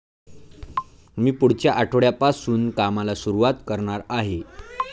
मी पुढच्या आठवड्यापासून कामाला सुरुवात करणार आहे.